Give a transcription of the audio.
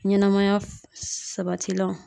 Ɲɛnɛmaya sabatilanw.